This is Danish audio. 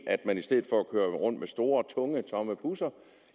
at man i stedet for at køre rundt med store tunge tomme busser